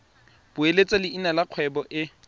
beeletsa leina la kgwebo e